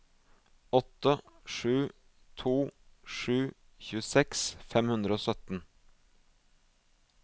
åtte sju to sju tjueseks fem hundre og sytten